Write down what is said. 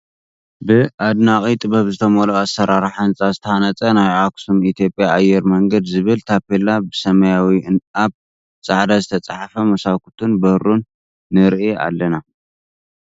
ብ ኣደናቂ ጥበብ ዝተመልኦ ኣሰራርሓ ህንፃ ዝተሃነፀ ናይ ኣክሱም ኢትዮጽያ ኣየር መንገድ ዝብል ታፔላ ብሰማያዊ ኣብ ፃዕዳ ዝተፃሓፈ መሳኩቱን በሩን ንርኢ ኣለና።